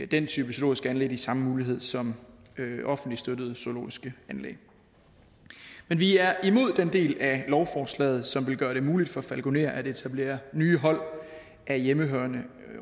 den type zoologiske anlæg de samme muligheder som offentligt støttede zoologiske anlæg men vi er imod den del af lovforslaget som vil gøre det muligt for falkonerer at etablere nye hold af hjemmehørende